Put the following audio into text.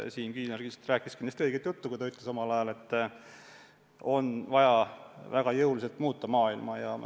Siim Kiisler rääkis õiget juttu, kui ta ütles omal ajal, et on vaja väga jõuliselt maailma muuta.